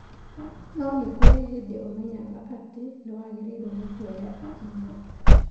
No nĩ kũrĩ hĩndĩ ũmenyaga atĩ nĩ wagĩrĩirũo nĩ kuoya ikinya.